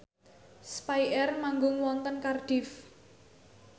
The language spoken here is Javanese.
spyair manggung wonten Cardiff